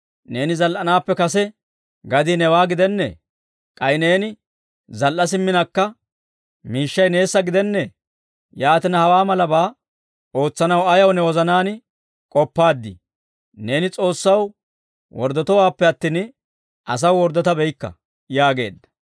Neeni zal"anaappe kase gadii newaa gidennee? K'ay neeni zal"a simminakka miishshay neessa gidennee? Yaatina, hawaa malabaa ootsanaw ayaw ne wozanaan k'oppaaddii? Neeni S'oossaw worddotowaappe attin, asaw worddotabeykka» yaageedda.